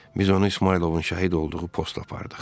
Biz onu İsmayılovun şəhid olduğu posta apardıq.